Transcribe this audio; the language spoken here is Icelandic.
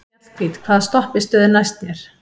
Mjallhvít, hvaða stoppistöð er næst mér?